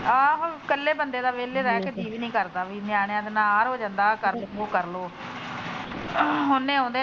ਆਹੋ ਇਕੱਲੇ ਬੰਦੇ ਦਾ ਵਿਹਲੇ ਰਹਿ ਕਿ ਜੀਅ ਵੀ ਨੀ ਕਰਦਾ ਨਿਆਣਿਆਂ ਦਾ ਆਹ ਹੋ ਜਾਂਦਾ ਆਹ ਕਰਲੋ ਉਹ ਕਰਲੋ .